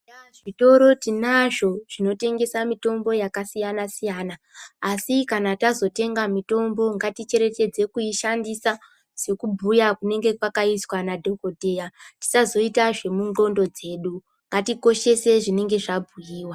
Zvitoro tinazvo zvonotengesa mitombo yakasiyana -siyana, asi kana tazorenga mitombo ngaticherechedze kuishandisa sekubhuya kunenge kwakaizwa nadhokodheya tisazoita zvemundxondo dzedu ngatikoshese zvinenge zvabhuiwa.